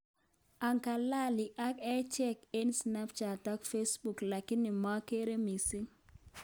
Angalali ak echeek eng snapchat ak facebook lakini mageere missing